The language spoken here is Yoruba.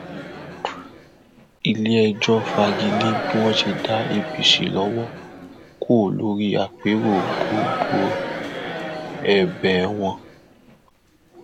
iléẹjọ fagi lé bí wọn ṣe dá apc lọwọ kò lórí àpérò gbọgbẹọ wọn